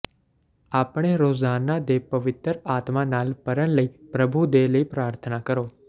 ਆਪਣੇ ਰੋਜ਼ਾਨਾ ਦੇ ਪਵਿੱਤਰ ਆਤਮਾ ਨਾਲ ਭਰਨ ਲਈ ਪ੍ਰਭੂ ਦੇ ਲਈ ਪ੍ਰਾਰਥਨਾ ਕਰੋ